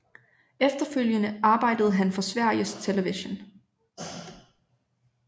Efterfølgende arbejdede han for Sveriges Television